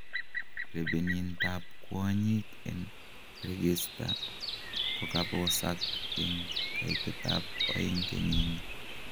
Rebeenintab kwonyiik en reekista kokabosaak en kaitetab 2 kenyinii.